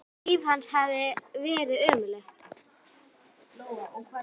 Mikið sem líf hans hafði verið ömurlegt.